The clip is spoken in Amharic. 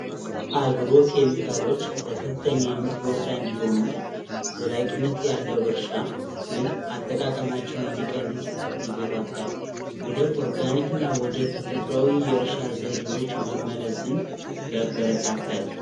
አግሮ ኬሚካሎች ለከፍተኛ ምርት ወሳኝ ቢሆኑም ዘላቂነት ያለው እርሻ ግን አጠቃቀማቸውን እንዲቀንስ ይገፋፋል፤ ወደ ኦርጋኒክ እና ተፈጥሮ የእርሻ ዘዴዎች መመለስን ያበረታታል።